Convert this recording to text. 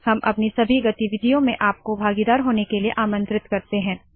हम अपनी सभी गतिविधियों में आपको भागीदार होने के लिए आमंत्रित करते है